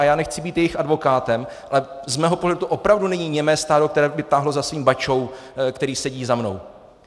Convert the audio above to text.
A já nechci být jejich advokátem, ale z mého pohledu to opravdu není němé stádo, které by táhlo za svým bačou, který sedí za mnou.